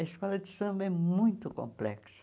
A escola de samba é muito complexa.